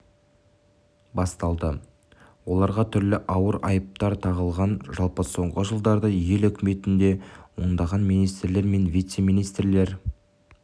басталды оларға түрлі ауыр айыптар тағылған жалпы соңғы жылдары ел үкіметінде ондаған министрлер мен вице-министрлер